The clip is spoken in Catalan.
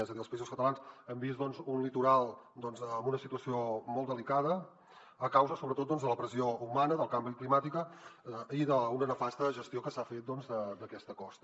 és a dir als països catalans hem vist un litoral en una situació molt delicada a causa sobretot de la pressió humana del canvi climàtic i d’una nefasta gestió que s’ha fet d’aquesta costa